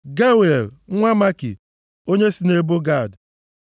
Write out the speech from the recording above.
Geuel nwa Maki, onye si nʼebo Gad.